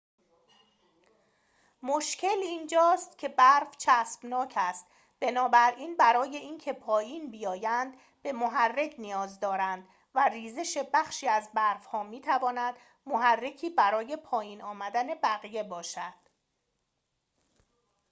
مشکل اینجاست که برف چسبناک است بنابراین برای اینکه پایین بیایند به محرک نیاز دارند و ریزش بخشی از برف‌ها می‌تواند محرکی برای پایین آمدن بقیه باشد